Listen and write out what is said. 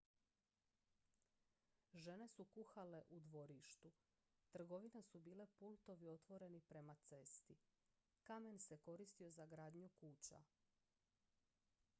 žene su kuhale u dvorištu trgovine su bile pultovi otvoreni prema cesti kamen se koristio za gradnju kuća